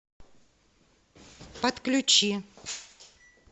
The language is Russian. подключи